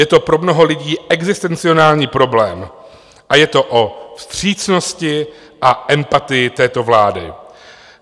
Je to pro mnoho lidí existenciální problém a je to o vstřícnosti a empatii této vlády.